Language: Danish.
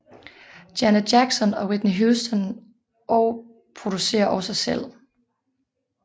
Janet Jackson og Whitney Houston og producerer også selv